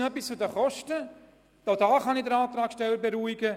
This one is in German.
Auch bezüglich der Kosten kann ich den Antragssteller beruhigen.